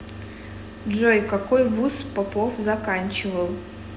джой какой вуз попов заканчивал